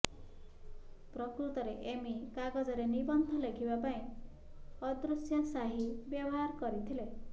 ପ୍ରକୃତରେ ଏମି କାଗଜରେ ନିବନ୍ଧ ଲେଖିବା ପାଇଁ ଅଦୃଶ୍ୟ ସ୍ୟାହୀ ବ୍ୟବହାର କରିଥିଲେ